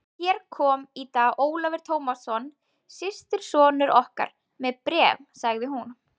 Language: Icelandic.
Hér kom í dag Ólafur Tómasson, systursonur okkar, með bréf, sagði hún.